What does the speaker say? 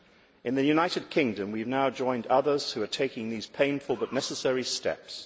In the United Kingdom, we have now joined others who are taking these painful but necessary steps.